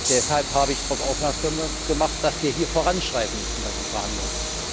Deshalb habe ich darauf aufmerksam gemacht, dass wir hier voranschreiten müssen bei den Verhandlungen.